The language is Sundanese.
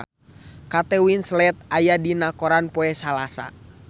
Kate Winslet aya dina koran poe Salasa